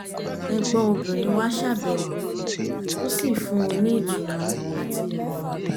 ẹ̀gbọ́n obìnrin wá ṣàbẹwò ó sì fún un ní ìtùnú àti ìmọ̀ràn